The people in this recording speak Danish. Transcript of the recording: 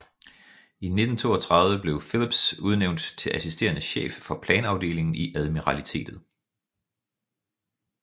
I 1932 blev Phillips udnvænt til assisterende chef for planafdelingen i admiralitetet